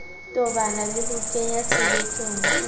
tobana le ho kenyatshebetsong o